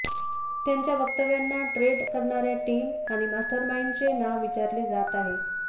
यांच्या वक्तव्यांना ट्रेड करणाऱ्या टीम आणि मास्टरमाईंडचे नाव विचारले जात आहे